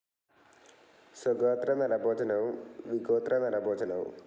സ്വഗോത്ര നരഭോജനവും, വിഗോത്ര നരഭോജനവും.